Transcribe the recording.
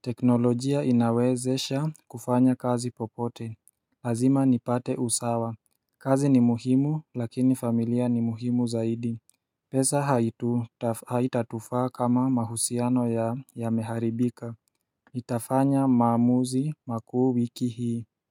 teknolojia inawezesha kufanya kazi popote Lazima nipate usawa kazi ni muhimu lakini familia ni muhimu zaidi pesa haitatufaa kama mahusiano yameharibika Nitafanya maamuzi makuu wiki hii.